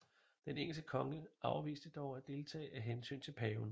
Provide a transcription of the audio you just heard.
Den engelske konge afviste dog at deltage af hensyn til paven